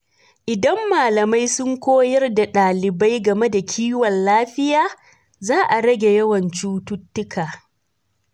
Idan malamai sun koyar da ɗalibai game da kiwon lafiya, za a rage yawan cututtuka.